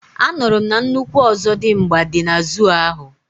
anuru m na nnukwu Ozodimgba di na zoo ahu